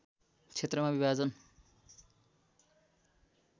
क्षेत्रमा विभाजन